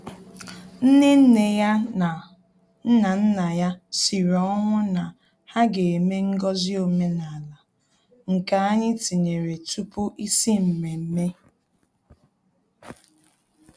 Nnenneya na Nnannaya sịrị ọnwụ na ha ga-eme ngọzi omenala, nke anyị tinyere tupu isi mmemme